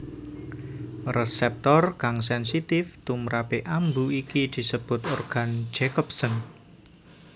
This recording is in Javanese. Resèptor kang sènsitif tumprapé ambu iki disebut organ Jacobson